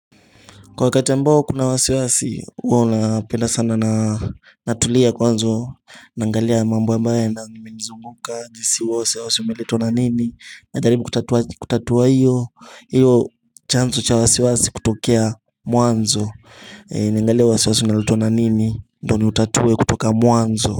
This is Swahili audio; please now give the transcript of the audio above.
Kwa wakati ambao kuna wasiwasi huwona penda sana na natulia kwanzo Nangalia mambo ambae na nimenizunguka jisiwase usi umeletwa na nini Najaribu kutatua hiyo chanzo cha wasiwasi kutokea mwanzo Niangalie wasiwasi unaletwa na nini ndoni utatue kutoka mwanzo.